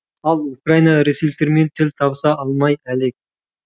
ал украина ресейліктермен тіл табыса алмай әлек